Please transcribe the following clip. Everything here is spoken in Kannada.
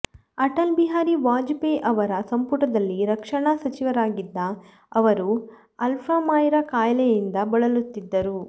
ಅಟಲ್ ಬಿಹಾರಿ ವಾಜಪೇಯಿ ಅವರ ಸಂಪುಟದಲ್ಲಿ ರಕ್ಷಣಾ ಸಚಿವರಾಗಿದ್ದ ಅವರು ಅಲ್ಝಮೈರ್ ಕಾಯಿಲೆಯಿಂದ ಬಳಲುತ್ತಿದ್ದರು